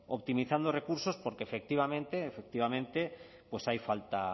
optimizando recursos porque efectivamente